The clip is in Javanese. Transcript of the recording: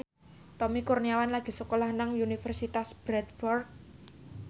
Tommy Kurniawan lagi sekolah nang Universitas Bradford